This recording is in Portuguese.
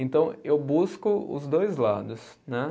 Então eu busco os dois lados, né.